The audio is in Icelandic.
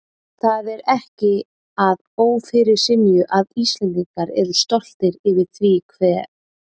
Það er ekki að ófyrirsynju að Íslendingar eru stoltir yfir því hve